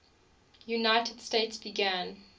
united states began